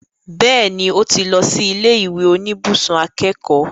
Bẹ́ẹ̀ni, ó ti lọ sí ilé ìwé oníbùsùn akẹ́kọ̀ọ́